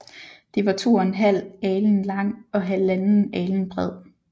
Det var to en halv alen lang og halvanden alen bred